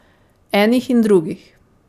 Enih in drugih ...